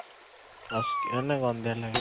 ଅସ୍କିଆ ମାନେ ଗନ୍ଧିଆ ଲାଗେ